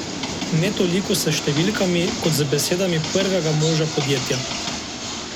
Ne toliko s številkami kot z besedami prvega moža podjetja.